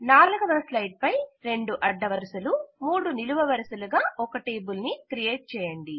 4వ స్లైడ్ పై రెండు అడ్డవరుసలు మూడు నిలువ వరుసలుగా ఒక టేబుల్ ని క్రియేట్ చేయండి